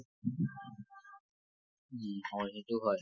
উম হয়, সেইটো হয়